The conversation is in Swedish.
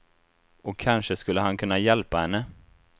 Och kanske skulle han kunna hjälpa henne.